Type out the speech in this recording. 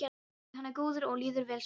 Hann er góður og okkur líður vel saman.